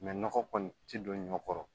nɔgɔ kɔni tɛ don ɲɔ kɔrɔ